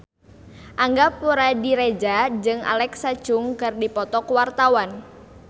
Angga Puradiredja jeung Alexa Chung keur dipoto ku wartawan